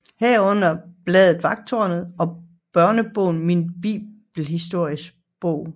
Herunder bladet Vagttårnet og børnebogen Min Bibelhistoriebog